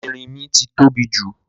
Erínmí ti tóbi jù